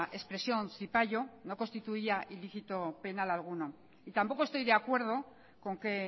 expresión zipaio no constituía delito penal alguno tampoco estoy de acuerdo con que